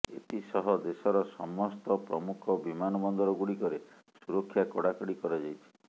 ଏଥିସହ ଦେଶର ସମସ୍ତ ପ୍ରମୁଖ ବିମାନବନ୍ଦରଗୁଡ଼ିକରେ ସୁରକ୍ଷା କଡ଼ାକଡ଼ି କରାଯାଇଛି